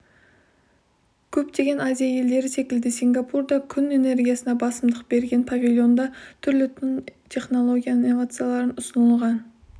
көптеген азия елдері секілді сингапур да күн энергиясына басымдық берген павильонда түрлі тың технология инновациялар ұсынылған